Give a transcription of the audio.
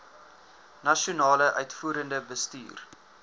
nasionale uitvoerende bestuur